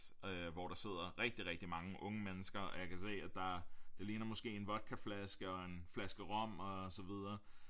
Hvor der sidder rigtig rigtig mange unge mennesker og jeg kan se at der det ligner måske en vodkaflaske og en flaske rom og så videre